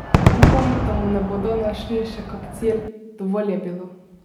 Upam, da mu ne bodo našli še kak cilj, dovolj je bilo!